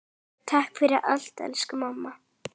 Takk fyrir allt elsku mamma.